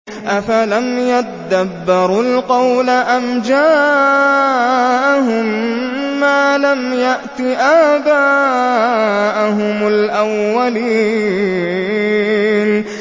أَفَلَمْ يَدَّبَّرُوا الْقَوْلَ أَمْ جَاءَهُم مَّا لَمْ يَأْتِ آبَاءَهُمُ الْأَوَّلِينَ